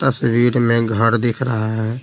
तस्वीर में घर दिख रहा है।